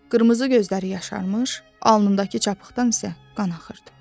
Qırmızı gözləri yaşarmış, alnındakı çapıqdan isə qan axırdı.